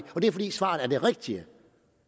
og det er fordi svaret er det rigtige